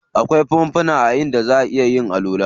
Akwai fanfuna inda zaʼa iya yin alwala.